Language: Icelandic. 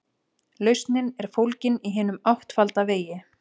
Lausnin er fólgin í hinum áttfalda vegi.